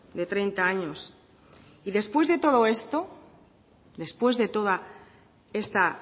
de treinta años y después de todo esto después de toda esta